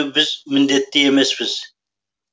біз міндетті емеспіз